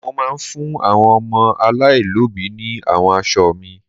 Mo máa fún àwọn ọmọ aláìlóbìí ní àwọn aṣọ mi.